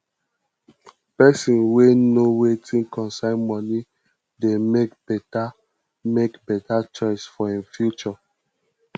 pesin wey know wetin concern moni dey mek beta mek beta choices for im future